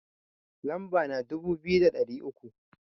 Lamba na dubu biyu da ɗari uku